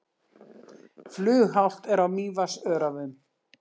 Flughált er á Mývatnsöræfum